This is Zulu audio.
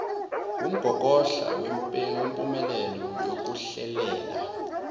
wumgogodla wempumelelo yokuhlelela